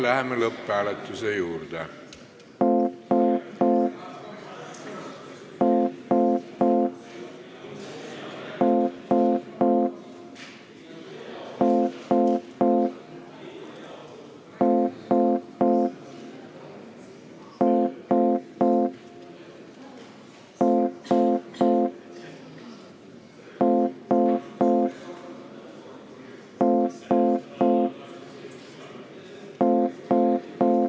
Läheme lõpphääletuse juurde.